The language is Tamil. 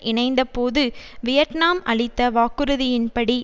இணைந்த போது வியட்நாம் அளித்த வாக்குறுதியின்படி